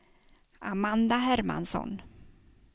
Amanda Hermansson